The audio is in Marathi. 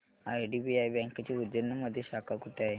आयडीबीआय बँकेची उज्जैन मध्ये शाखा कुठे आहे